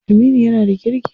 Aminu yana da kirki.